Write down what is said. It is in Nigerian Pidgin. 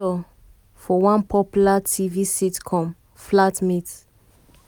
she bin feature for feature for one popular tv sitcom flatmates.